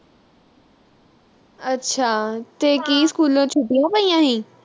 ਅੱਛਾ ਤੇ ਕੀ school ਚੋਂ ਛੁੱਟੀਆਂ ਲਈਆਂ ਹੋਈਆ।